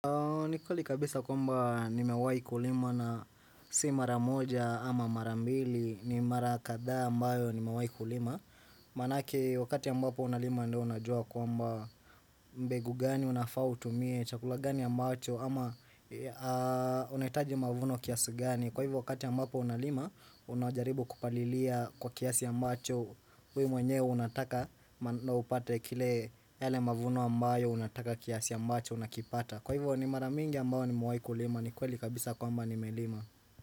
Ni kweli kabisa kwamba nimewai kulima na si mara moja ama mara mbili ni mara kadhaa ambayo nimewai kulima Manake wakati ambapo unalima ndo unajua kwamba mbegu gani unafa utumie chakula gani ambacho ama unaitaji mavuno kiasu gani kwa hivyo wakati ambapo unalima unajaribu kupalilia kwa kiasi ambacho we mwenyewe unataka na upate kile yale mavuno ambayo unataka kiasi ambacho unakipata Kwa hivyo ni maramingi ambao nimewai kulima ni kweli kabisa kwamba ni melima.